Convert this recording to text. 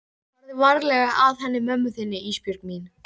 Farðu varlega að henni mömmu þinni Ísbjörg mín.